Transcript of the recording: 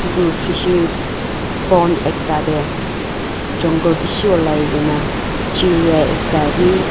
itu fishery pond ekta deh jongle bishi olai kena chiriyah ekta bhi.